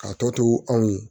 K'a tɔ to anw ye